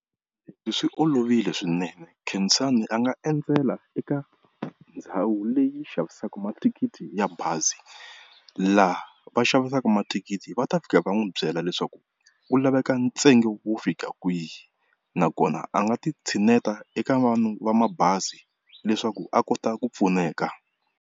Swi olovile swinene Khensani a nga endzela eka ndhawu leyi xavisaka mathikithi ya bazi, laha va xavisaka mathikithi va ta fika va n'wi byela leswaku ku laveka ntsengo wo fika kwihi nakona a nga ti tshineta eka vanhu va mabazi leswaku a kota ku pfuneka.